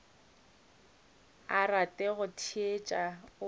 rate go di theetša o